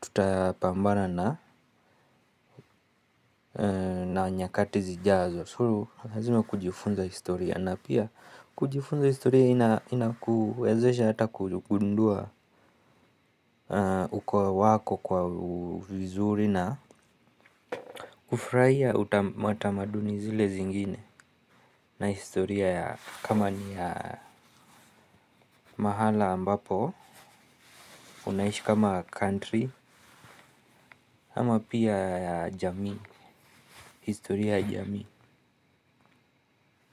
tutapambana na nyakati zijazo. So lazima kujifunza historia na pia kujifunza historia inakuwezesha hata kugundua ukoa wako kwa vizuri na kufurahia matamaduni zile zingine na historia ya kama ni ya mahala ambapo, unaishi kama country ama pia ya jamii, historia ya jamii.